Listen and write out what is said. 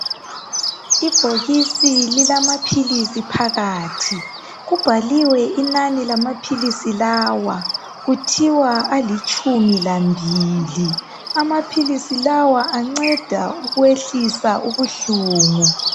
Ibhokisi lilamaphilisi phakathi, kubhaliwe inani lamaphilisi lawa .kuthiwa alitshumi lambili, amaphilisi lawa anceda ukwehlisa ubuhlungu.